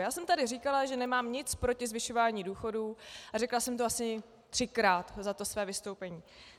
Já jsem tady říkala, že nemám nic proti zvyšování důchodů, a řekla jsem to asi třikrát za to své vystoupení.